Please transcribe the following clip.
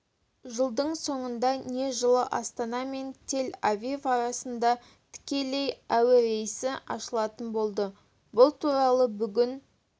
жылдың соңында не жылы астана мен тель-авив арасында тікелей әуе рейсі ашылатын болады бұл туралы бүгін